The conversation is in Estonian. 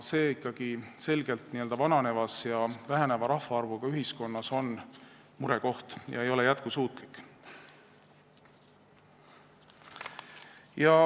See on selgelt vananevas ja väheneva rahvaarvuga ühiskonnas murekoht ega ole jätkusuutlik.